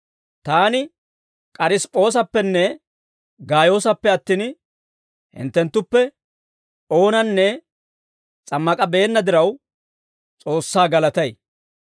Taani K'arisip'p'oosappenne Gaayoosappe attin, hinttenttuppe oonanne s'ammak'abeenna diraw, S'oossaa galatay.